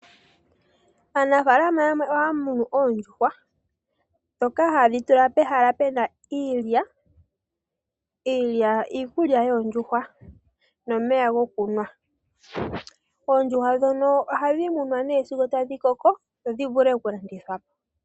Aanafaalama yamwe ohaya munu oondjuhwa ndhoka haye dhi tula pehala pena iilya. Iilya iikulya yoondjuhwa nomeya gokunwa. Oondjuhwa ndhono ohadhi munwa nee sigo tadhi koko opo dhi vule okulandithwa po.